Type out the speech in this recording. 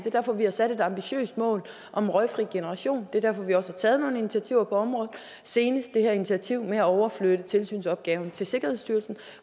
er derfor vi har sat et ambitiøst mål om en røgfri generation det er derfor vi også har taget nogle initiativer på området senest det her initiativ med at overflytte tilsynsopgaven til sikkerhedsstyrelsen